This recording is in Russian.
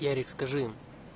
ярик скажи им